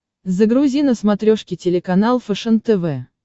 загрузи на смотрешке телеканал фэшен тв